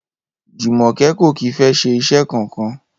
Jùmò̩ké̩ kò kì í fé̩ s̩e is̩é̩ kankan